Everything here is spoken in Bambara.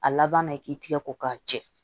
A laban na i k'i tigɛ ko k'a jɛ